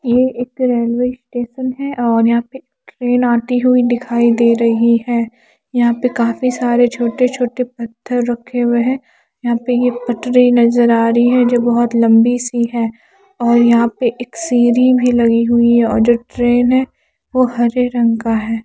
ये एक railway station है और यहां पे ट्रेन आती हुई दिखाई दे रही है यहां पे काफी सारे छोटे छोटे पत्थर रखे हुए हैं यहां पे ये पटरी नजर आ रही है जो बहुत लंबी सी है और यहां पे एक सीढ़ी भी लगी हुई है और जो ट्रेन है वो हरे रंग का है।